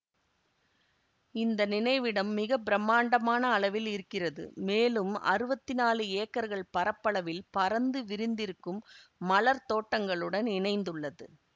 இந்த நினைவிடம் மிக பிரமாண்டமான அளவில் இருக்கிறது மேலும் அறுவத்தி நாலு ஏக்கர்கள் பரப்பளவில் பரந்து விரிந்திருக்கும் மலர்த் தோட்டங்களுடன் இணைந்துள்ளது